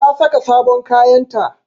Ta saka sabon kayanta